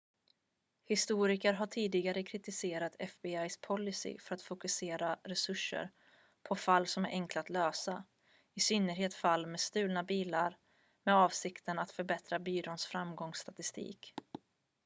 historiker har kritiserat tidigare fbi-policys för att fokusera resurser på fall som är enkla att lösa i synnerhet fall med stulna bilar med avsikten att förbättra byråns framgångsstatistik